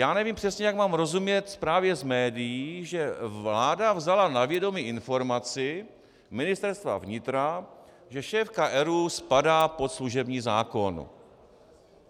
Já nevím přesně, jak mám rozumět zprávě z médií, že vláda vzala na vědomí informaci Ministerstva vnitra, že šéfka ERÚ spadá pod služební zákon.